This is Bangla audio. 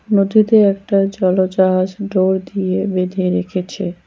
নদীতে একটা জল জাহাজ ডোর দিয়ে বেঁধে রেখেছে।